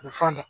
A bɛ falen